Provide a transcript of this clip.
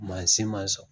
Mansin ma sɔn